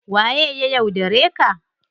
Waye ya yaudare ka?